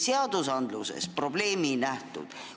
Seadustes probleemi ei nähtud.